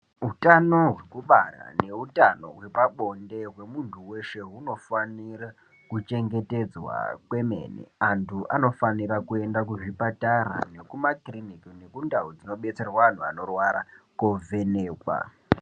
Utano hwekubara neutano hwepabonde hwemuntu weshe hunofanira kuchengetedzwa kwemene. Antu anofanira kuenda kuzvipatara, nekumakirinika nekundau dzinobetserwa anhu anorwara, kovhenekwa.